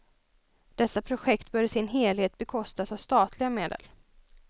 Dessa projekt bör i sin helhet bekostas av statliga medel.